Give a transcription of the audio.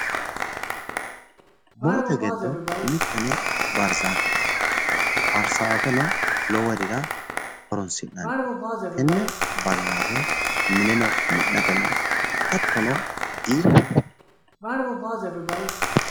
Murote giddo mitte barzaafete. barzaafeno loworira horonsi'nanni. Tenne barzaafe mineno mi'nate hattono giidhate.